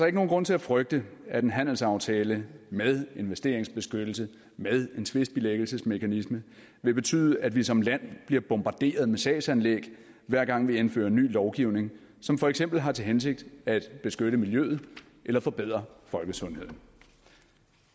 ikke nogen grund til at frygte at en handelsaftale med investeringsbeskyttelse med en tvistbilæggelsesmekanisme vil betyde at vi som land bliver bombarderet med sagsanlæg hver gang vi indfører ny lovgivning som for eksempel har til hensigt at beskytte miljøet eller forbedre folkesundheden